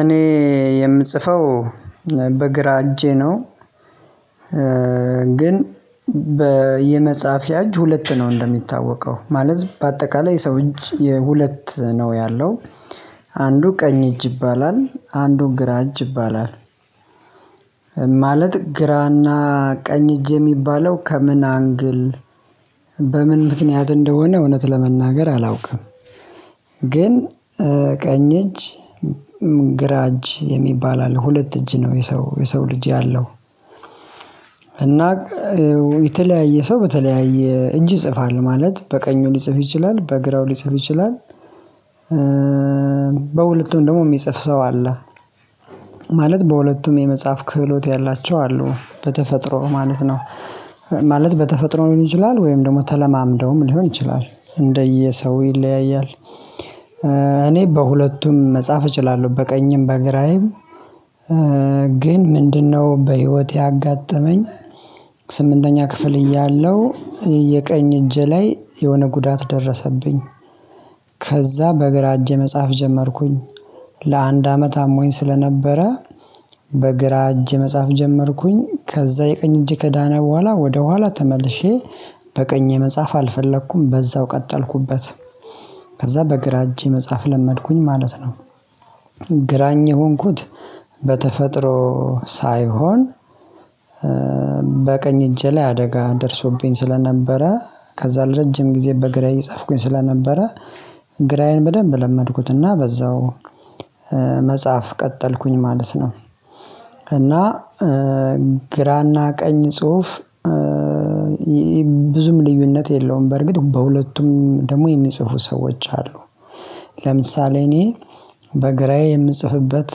እኔ የምጽፈው በግራ እጄ ነው። ግን በየመጽሐፍያ እጅ ሁለት ነው እንደሚታወቀው ማለት በአጠቃላይ የሰው እጅ የሁለት ነው ያለው አንዱ ቀኝ እጅ ይባላል አንዱ ግራ እጅ ይባላል። ማለት ግራና ቀኝ እጅ የሚባለው ከምን አንግል? በምን ምክንያት እንደሆነ እውነት ለመናገር አላውቅም። ግን ቀኝ እጅ ግራ እጅ የሚባል አለ ሁለት እጅ ነው የሰው የሰው ልጅ ያለው። እና የተለያየ ሰው በተለያየ እጅ ይጽፋል ማለት በቀኙ ሊጽፍ ይችላል በግራው ሊጽፍ ይችላል። በሁለቱም ደግሞ የሚጽፍ ሰው አለ ማለት በሁለቱም የመጽሐፍ ክህሎት ያላቸው አሉ በተፈጥሮ ማለት ነው። ማለት በተፈጥሮ ሊሆን ይችላል ወይም ደግሞ ተለማምደውም ሊሆን ይችላል እንደየሰው ይለያያል። እኔ በሁለቱም መጽሐፍ እችላለሁ በቀኝም በግራዬም ግን ምንድነው በህይወቴ ያጋጠመኝ? ስምንተኛ ክፍል እያለሁ የቀኝ እጄ ላይ የሆነ ጉዳት ደረሰብኝ። ከዛ በግራ እጄ መጽሐፍ ጀመርኩኝ። ለአንድ አመት አሞኝ ስለነበረ በግራ እጅ መጽሐፍ ጀመርኩኝ ከዛ የቀኝ እጅ ከዳና በኋላ ወደኋላ ተመልሼ። በቀኝ መጽሐፍ አልፈለኩም በዛው ቀጠልኩበት። ከዛ በግራ እጄ መጽሐፍ ለመድኩኝ ማለት ነው። ግራኝ የሆንኩት በተፈጥሮ ሳይሆን በቀኝ እጄ ላይ አደጋ ደርሶብኝ ስለነበረ ከዛ ለረጅም ጊዜ በግራ እየጻፍኩኝ ስለነበረ ግራዬን በደንብ ለመድኩትና በዛው መጽሐፍ ቀጠልኩኝ ማለት ነው። እና ግራና ቀኝ ጽሁፍ ብዙም ልዩነት የለውም በርግጥ በሁለቱም ደግሞ የሚጽፉ ሰዎች አሉ። ለምሳሌ እኔ በግራዬ የምጽፍበት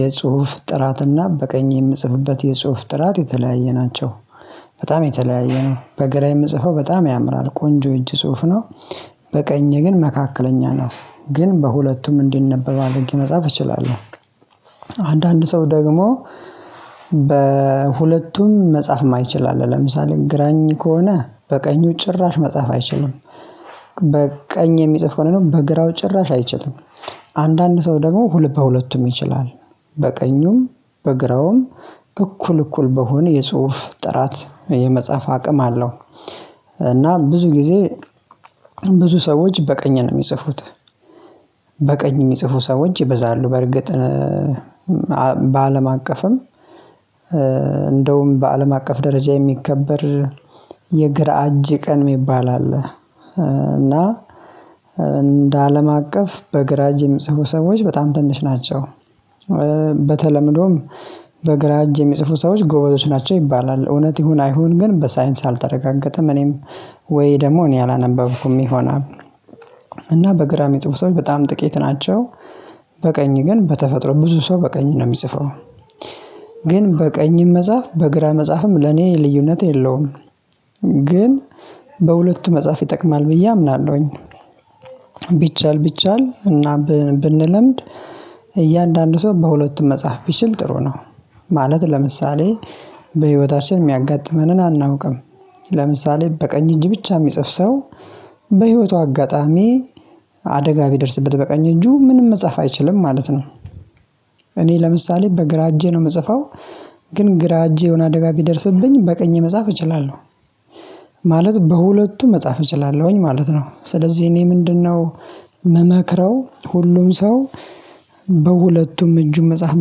የጽሁፍ ጥራትና በቀኝ የምጽፍበት የጽሁፍ ጥራት የተለያየ ናቸው። በጣም የተለያየ ነው በግራ የምጽፈው በጣም ያምራል ቆንጆ እጅ ጽሁፍ ነው። በቀኝ ግን መካከለኛ ነው። ግን በሁለቱም እንዲነበብ አድርጌ መጻፍ እችላለሁ። አንዳንድ ሰው ደግሞ በሁለቱም መጻፍ የማይችል አለ ለምሳሌ ግራኝ ከሆነ በቀኙ ጭራሽ መጻፍ አይችልም። በቀኝ የሚጽፍ ከሆነ ነው በግራው ጭራሽ አይችልም። አንዳንድ ሰው ደግሞ ሁል በሁለቱም ይችላል በቀኙም በግራውም እኩል እኩል በሆነ የጽሁፍ ጥራት የመጽሐፍ አቅም አለው። እና ብዙ ጊዜ ብዙ ሰዎች በቀኝ ነው የሚጽፉት። በቀኝ የሚጽፉ ሰዎች ይበዛሉ በርግጥ በአለም አቀፍም እንደውም በአለም አቀፍ ደረጃ የሚከበር የግራ እጅ ቀን የሚባል አለ። እና እንደ አለም አቀፍ በግራ እጅ ጽሁፍ ሰዎች በጣም ትንሽ ናቸው። በተለምዶም በግራ እጅ የሚጽፉ ሰዎች ጎበዞች ናቸው ይባላል እውነት ይሁን አይሁን ግን በሳይንስ አልተረጋገጠም። እኔም ወይ ደግሞ እኔ አላነበብኩም ይሆናል። እና በግራ ጥቡ ሰዎች በጣም ጥቂት ናቸው። በቀኝ ግን በተፈጥሮ ብዙ ሰው በቀኝ ነው የሚጽፈው። ግን በቀኝም መጽሐፍ በግራ መጽሐፍም ለኔ ልዩነት የለውም። ግን በሁለቱ መጽሐፍ ይጠቅማል ብዬ አምናለሁኝ። ቢቻል ቢቻል እና ብንለምድ እያንዳንዱ ሰው በሁለቱም መጽሐፍ ቢችል ጥሩ ነው። ማለት ለምሳሌ በህይወታችን የሚያጋጥመንን አናውቅም። ለምሳሌ በቀኝ እጅ ብቻ የሚጽፍ ሰው በህይወቷ አጋጣሚ አደጋ ቢደርስበት በቀኝ እጁ ምንም መጻፍ አይችልም ማለት ነው። እኔ ለምሳሌ በግራ እጄ ነው የምጽፈው። ግን ግራ እጄ የሆነ አደጋ ቢደርስብኝ በቀኝ መጻፍ እችላለሁ። ማለት በሁለቱም መጻፍ እችላለሁኝ ማለት ነው ስለዚህ እኔ ምንድነው? ምመክረው ሁሉም ሰው በሁለቱም እጁን መጽሐፍ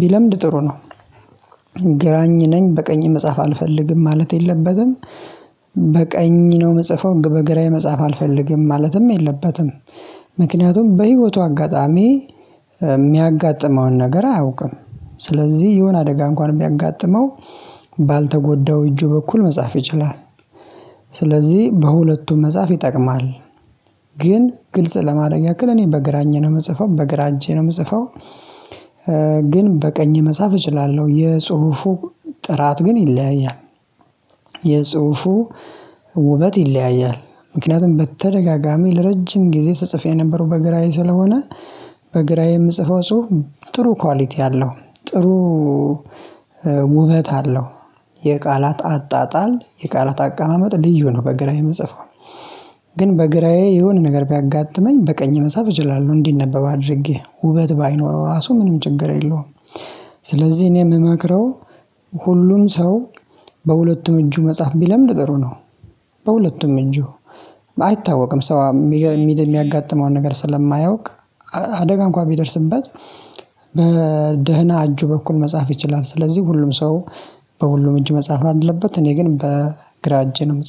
ቢለምድ ጥሩ ነው። ግራኝ ነኝ በቀኝ መጽሐፍ አልፈልግም ማለት የለበትም። በቀኝ ነው የምጽፈው በግራ መጽሐፍ አልፈልግም ማለትም የለበትም። ምክንያቱም በህይወቱ አጋጣሚ የሚያጋጥመውን ነገር አያውቅም። ስለዚህ የሆነ አደጋ እንኳን የሚያጋጥመው ቢያጋጥመው ባልተጎዳው እጁ በኩል መጻፍ ይችላል። ስለዚህ በሁለቱም መጻፍ ይጠቅማል። ግን ግልጽ ለማድረግ ያክል እኔ በግራኝ ነው የምጽፈው በግራኝ ነው የምጽፈው። ግን በቀኝ መጽሐፍ እችላለሁ የጽሁፉ ጥራት ግን ይለያያል። የጽሁፉ ውበት ይለያያል። ምክንያቱም በተደጋጋሚ ለረጅም ጊዜ ስጽፍ የነበረው በግራዬ ስለሆነ። በግራዬ የምጽፈው ጽሁፍ ጥሩ ኳሊቲ አለው። ጥሩ ውበት አለው። የቃላት አጣጣል የቃላት አቀማመጥ ልዩ ነው በግራ የምጽፈው። ግን በግራዬ የሆነ ነገር ቢያጋጥመኝ በቀኝ መሳብ እችላለሁ እንዲነበብ አድርጌ ውበት ባይኖረው ራሱ ምንም ችግር የለውም። ስለዚህ እኔ የምመክረው ሁሉም ሰው በሁለቱም እጁ መጽሐፍ ቢለምድ ነገሩ ነው። በሁለቱም እጁ አይታወቅም ሰው የሚያጋጥመውን ነገር ስለማያውቅ። አደጋም እንኳን ቢደርስበት በደህና እጁ በኩል መጻፍ ይችላል። ስለዚህ ሁሉም ሰው በሁሉም እጅ መጽሐፍ አለበት። እኔ ግን በግራ እጄ እጄ ነው የምጽፈው